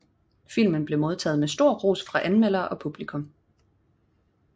Filmen blev modtaget med stor ros fra anmeldere og publikum